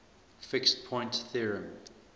fixed point theorem